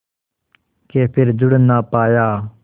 के फिर जुड़ ना पाया